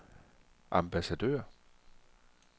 ambassadør